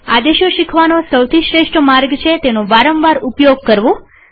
આદેશો શીખવાનો સૌથી શ્રેષ્ઠ માર્ગ છે તેનો વારંવાર ઉપયોગ કરવો